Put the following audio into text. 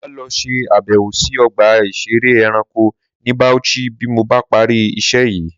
Màá lọ ṣe àbẹ̀wò sí ọgbà ìṣeré ẹranko ní Bauchi bí mo bá parí iṣẹ́ yìí